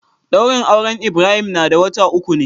Daurin auren Ibrahim na da wata uku ne.